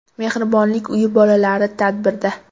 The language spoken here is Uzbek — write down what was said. Mehribonlik uyi bolalari tadbirda.